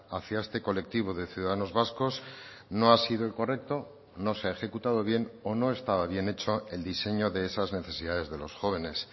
hacia este colectivo de ciudadanos vascos no ha sido el correcto no se ha ejecutado bien o no estaba bien hecho el diseño de esas necesidades de los jóvenes